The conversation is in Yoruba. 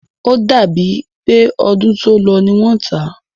O dàbí è pé ọdún tó lọ ní wọ́n tá.